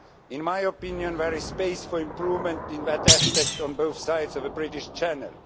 In my opinion, there is space for improvement in that respect on both sides of the British Channel.